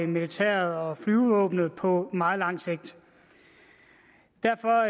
militæret og flyvevåbnet på meget lang sigt derfor